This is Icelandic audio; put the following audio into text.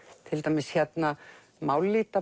til dæmis hérna